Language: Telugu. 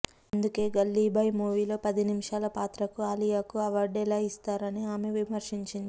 అందుకే గల్లీ బాయ్ మూవీలో పది నిమిషాల పాత్రకు అలియాకు అవార్డు ఎలా ఇస్తారు అని ఆమె విమర్శించింది